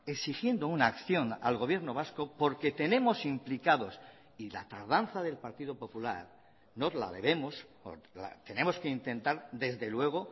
exigiendo una acción al gobierno vasco porque tenemos implicados y la tardanza del partido popular no la debemos tenemos que intentar desde luego